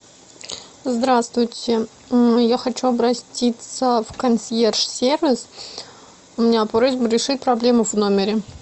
здравствуйте я хочу обратиться в консьерж сервис у меня просьба решить проблему в номере